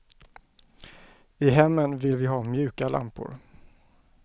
I hemmen vill vi ha mjuka lampor.